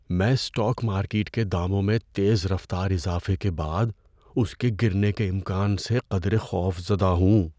میں stock market کے داموں میں تیز رفتار اضافے کے بعد اس کے گرنے کے امکان سے قدرے خوفزدہ ہوں۔